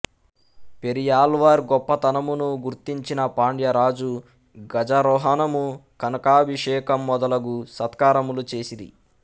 పెరియాళ్వార్ గొప్పతనమును గుర్తించిన పాండ్యరాజు గజారోహణము కనకాభిషేకము మొదలగు సత్కారములు చేసిరి